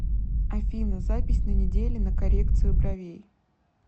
афина запись на неделе на коррекцию бровей